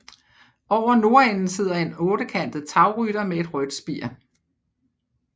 Over nordenden sidder en ottekantet tagrytter med et rødt spir